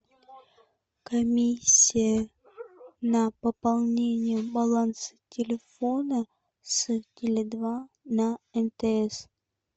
комиссия на пополнение баланса телефона с теле два на мтс